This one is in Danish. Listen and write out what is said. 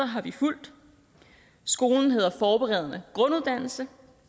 har vi fulgt skolen hedder forberedende grunduddannelse